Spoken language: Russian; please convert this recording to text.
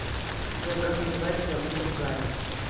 джой как называется валюта в гане